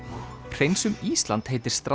hreinsum Ísland heitir